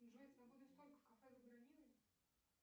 джой свободный столик в кафе забронируй